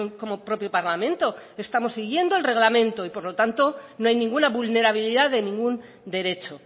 como propio parlamento estamos siguiendo el reglamento y por lo tanto no hay ninguna vulnerabilidad de ningún derecho